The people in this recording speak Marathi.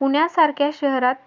पुण्यासारख्या शहरात